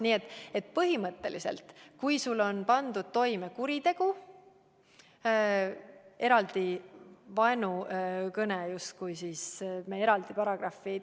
Nii et põhimõtteliselt, kui sa oled pannud toime kuriteo, siis eraldi vaenukõne paragrahvi kohaldada ei saa.